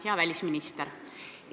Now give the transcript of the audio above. Hea välisminister!